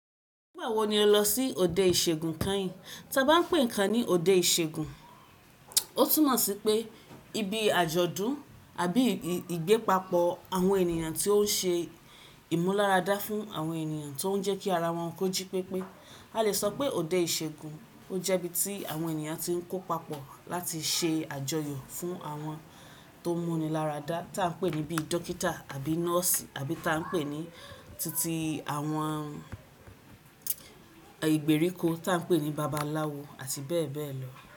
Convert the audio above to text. Nígbà wo ni o lọ sí òde ìṣègùn kàn í? Tí a bá n pè nkàn ní òde ìṣègùn, ó túmọ̀ sí pé ibi àjọ̀dún àbí ìgbépapọ̀ àwọn ènìyàn tí ó n ṣe ìmúlárada fún àwọn ènìyàn tó ń jẹ́ kí ara wọn kójí pépé. A le sọ pé òde ìṣègùn ó jẹ́ ibi tí àwọn ènìyàn tí ń kó papọ̀ láti ṣe àjọyọ̀ fún àwọn tó múni láradá tí a ń pè ní bí dókítà àbí nọ́ọ̀sì àbí tá ń pè ní títí àwọn ìgbèríko tí a ń pè ní babaláwo àti bẹ́ẹ̀ bẹ́ẹ̀ lọ.